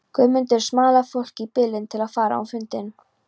Guðmundur smalaði fólki í bílinn til að fara á fundinn.